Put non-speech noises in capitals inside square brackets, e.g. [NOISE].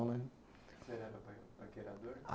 [UNINTELLIGIBLE] Você era pa, paquerador? Ah